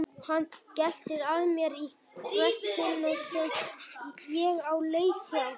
Hann geltir að mér í hvert sinn sem ég á leið hjá.